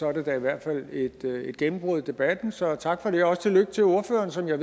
er det da i hvert fald et gennembrud i debatten så tak for det og også tillykke til ordføreren som jeg